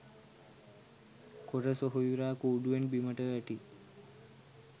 කොර සොහොයුරා කූඩුවෙන් බිමට වැටී